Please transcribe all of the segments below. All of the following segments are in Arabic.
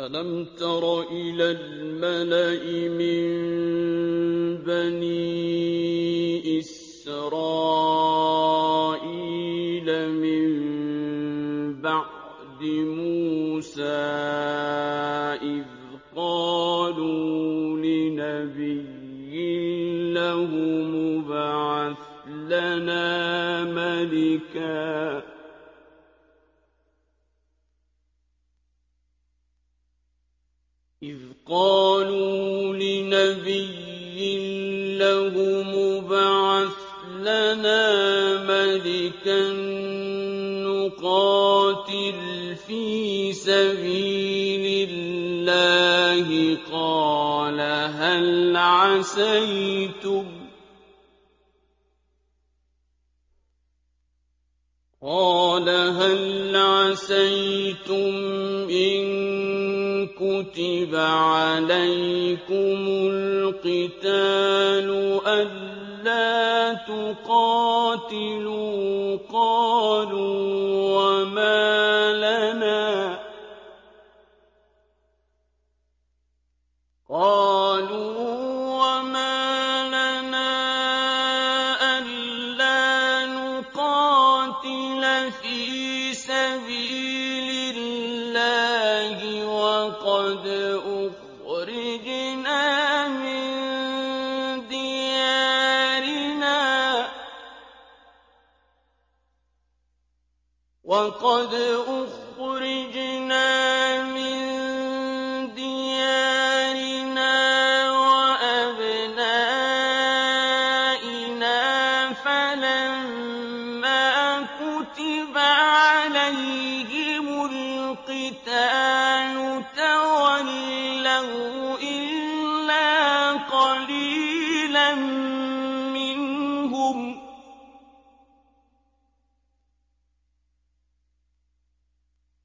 أَلَمْ تَرَ إِلَى الْمَلَإِ مِن بَنِي إِسْرَائِيلَ مِن بَعْدِ مُوسَىٰ إِذْ قَالُوا لِنَبِيٍّ لَّهُمُ ابْعَثْ لَنَا مَلِكًا نُّقَاتِلْ فِي سَبِيلِ اللَّهِ ۖ قَالَ هَلْ عَسَيْتُمْ إِن كُتِبَ عَلَيْكُمُ الْقِتَالُ أَلَّا تُقَاتِلُوا ۖ قَالُوا وَمَا لَنَا أَلَّا نُقَاتِلَ فِي سَبِيلِ اللَّهِ وَقَدْ أُخْرِجْنَا مِن دِيَارِنَا وَأَبْنَائِنَا ۖ فَلَمَّا كُتِبَ عَلَيْهِمُ الْقِتَالُ تَوَلَّوْا إِلَّا قَلِيلًا مِّنْهُمْ ۗ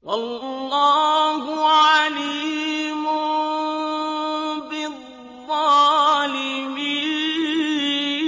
وَاللَّهُ عَلِيمٌ بِالظَّالِمِينَ